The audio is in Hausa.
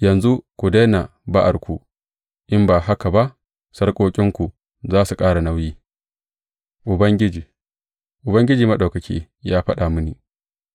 Yanzu ku daina ba’arku, in ba haka ba sarƙoƙinku za su ƙara nauyi; Ubangiji, Ubangiji Maɗaukaki, ya faɗa mini